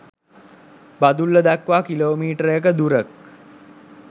බදුල්ල දක්වා කිලෝමීටරක දුරක්